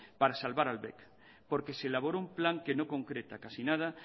para salvar al bec porque se elaboró un plan que no concreta casi nada